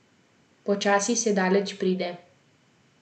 Počasi se daleč pride.